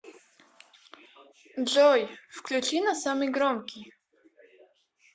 джой включи на самый громкий